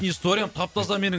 историям тап таза менің